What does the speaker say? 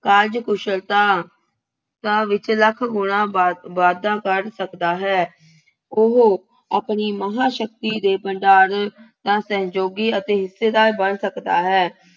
ਕਾਰਜ-ਕੁਸ਼ਲਤਾ ਤਾ ਵਿੱਚ ਲੱਖ ਗੁਣਾ ਵਾਧ ਵਾਧਾ ਕਰ ਸਕਦਾ ਹੈ। ਉਹ ਆਪਣੀ ਮਹਾਂਸ਼ਕਤੀ ਦੇ ਭੰਡਾਰ ਦਾ ਸਹਿਯੋਗੀ ਅਤੇ ਹਿੱਸੇਦਾਰ ਬਣ ਸਕਦਾ ਹੈ।